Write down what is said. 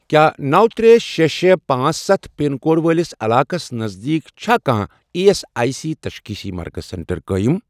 کیٛاہ نو ترٚےٚ شےٚ شےٚ پانٛژ ستھ پِن کوڈ وٲلِس علاقس نزدیٖک چھا کانٛہہ ایی ایس آٮٔۍ سی تشخیٖصی مرکز سینٹر قٲیم؟